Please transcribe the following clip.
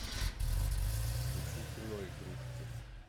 включи кино игрушки